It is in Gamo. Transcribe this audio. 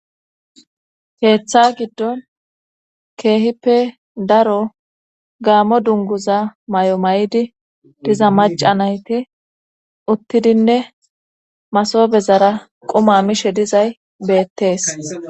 Keeththa giddon keehippe daro gaammo dunguza may7o ma7di diza maca nayti uttidinne masoobezara quma mishe dizay beettees.